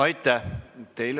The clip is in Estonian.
Aitäh!